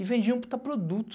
E vendiam um puta produto.